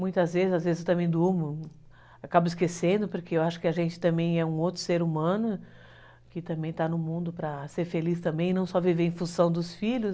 Muitas vezes, às vezes eu também durmo, acabo esquecendo, porque eu acho que a gente também é um outro ser humano, que também está no mundo para ser feliz também, não só viver em função dos filhos.